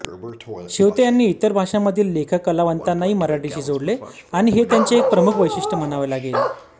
शेवते यांनी इतर भाषांमधील लेखककलावंतांनाही मराठीशी जोडले आणि हे त्यांचे एक प्रमुख वैशिष्ट्य म्हणावे लागेल